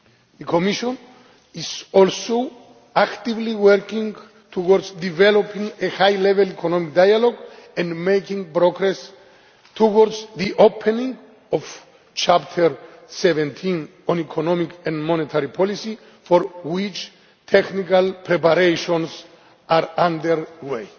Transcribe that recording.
The Commission is also actively working towards developing a high level economic dialogue and making progress towards the opening of Chapter 17 on economic and monetary policy, for which technical preparations are underway.